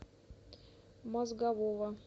мозгового